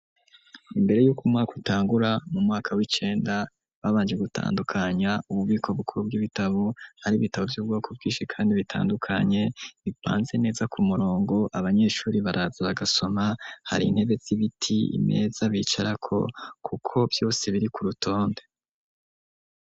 Imbere yuko umwaka utangura mu mwaka w'icenda ,babanje gutandukanya ububiko bukuru bw'ibitabo, hari ibitabo by'ubwoko bwishi kandi bitandukanye ipanze neza ku murongo abanyeshuri baraza bagasoma hari intebe zibiti, imeza bicarako kuko vyose biri ku rutonde.